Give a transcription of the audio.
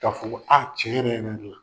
Ka fɔ ko aa tiɲɛ yɛrɛ yɛrɛ de la